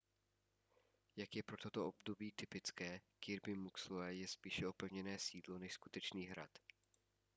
jak je pro toto období typické kirby muxloe je spíše opevněné sídlo než skutečný hrad